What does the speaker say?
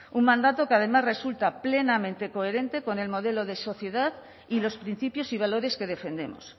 un mandato que además resulta plenamente coherente con el modelo de sociedad y los principios y valores que defendemos